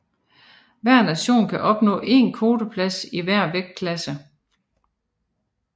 Hver nation kan opnå én kvoteplads i hver vægtklasse